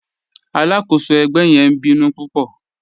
Aláàkọ́sọ̀ ẹgbẹ̀ yẹn ǹ bínú púpọ̀.